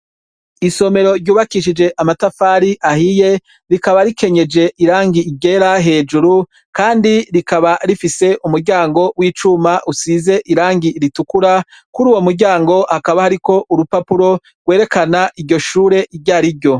Isomero ryubakishije amatafari ahiye, rikaba rikenyeje irangi ryera hejuru, kandi rikaba rifise umuryango w'icuma usize irangi ritukura. Kur'uwo muryango hakaba hariko urupapuro rwerekana iryo shure iry'ari ryo.